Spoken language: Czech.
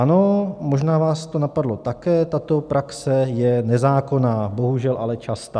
Ano, možná vás to napadlo také: tato praxe je nezákonná, bohužel ale častá.